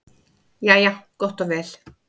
Jæja gott og vel.